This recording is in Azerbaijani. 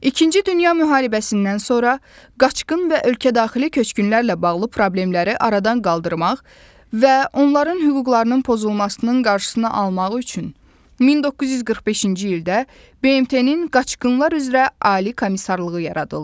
İkinci Dünya Müharibəsindən sonra qaçqın və ölkə daxili köçkünlərlə bağlı problemləri aradan qaldırmaq və onların hüquqlarının pozulmasının qarşısını almaq üçün 1945-ci ildə BMT-nin Qaçqınlar üzrə Ali Komissarlığı yaradıldı.